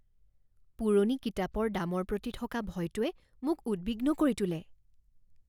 পুৰণি কিতাপৰ দামৰ প্ৰতি থকা ভয়টোৱে মোক উদ্বিগ্ন কৰি তোলে।